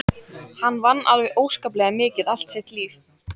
Hann vann alveg óskaplega mikið allt sitt líf.